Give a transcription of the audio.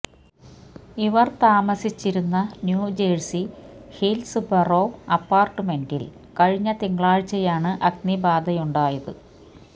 ഇവര് താമസിച്ചിരുന്ന New Jersey Hills Borough അപ്പാര്ട്ട്മെന്റില് കഴിഞ്ഞ തിങ്കളാഴ്ചയാണ് അഗ്നിബാധയുണ്ടായത്